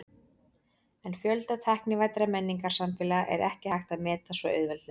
En fjölda tæknivæddra menningarsamfélaga er ekki hægt að meta svo auðveldlega.